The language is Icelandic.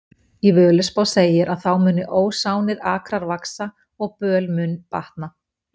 Í Völuspá segir að þá muni ósánir akrar vaxa og böl mun batna.